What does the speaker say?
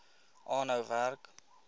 aanhou werk